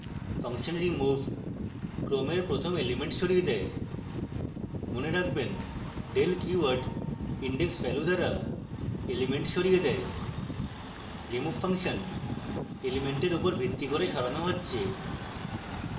function remove ক্রমের প্রথম element সরিয়ে দেয় মনে রাখবেন del keyword index value দ্বারা element সরিয়ে দেয়